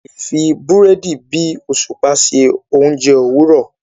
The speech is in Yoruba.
a lẹ fí Búrẹ́dì bí òṣùpá ṣe oúnjẹ Òwúrọ.